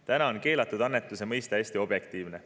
Praegu on keelatud annetuse mõiste hästi objektiivne.